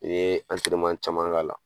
N ye caman k'a la